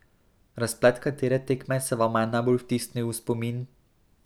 Razplet katere tekme se vama je najbolj vtisnil v spomin?